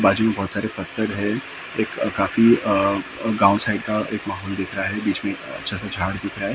बाजू में बहुत सारे पत्थर है एक काफी अ गाँव साइड का एक माहौल दिख रहा है बीच में अ अच्छा सा झाड़ दिख रहा है सन--